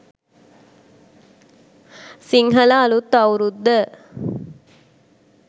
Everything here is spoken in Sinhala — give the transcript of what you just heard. sinhala aluth aurudda